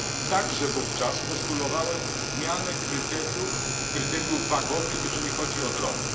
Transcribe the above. Także wówczas postulowałem zmianę kryteriów wagowych, jeżeli chodzi o drony.